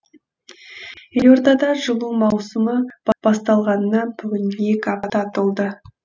елордада жылу маусымы басталғанына бүгін екі апта толды